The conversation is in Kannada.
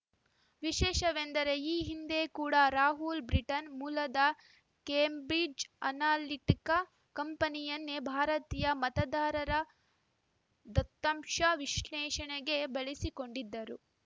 ವಿಶೇಷವೆಂದರೆ ಈ ಹಿಂದೆ ಕೂಡಾ ರಾಹುಲ್‌ ಬ್ರಿಟನ್‌ ಮೂಲದ ಕೇಂಬ್ರಿಜ್‌ ಅನಾಲಿಟಿಕಾ ಕಂಪನಿಯನ್ನೇ ಭಾರತೀಯ ಮತದಾರರ ದತ್ತಾಂಶ ವಿಶ್ಲೇಷಣೆಗೆ ಬಳಸಿಕೊಂಡಿದ್ದರು